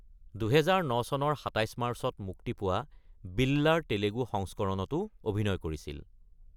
২০০৯ চনৰ ২৭ মাৰ্চত মুক্তি পোৱা বিল্লাৰ তেলেগু সংস্কৰণতো অভিনয় কৰিছিল।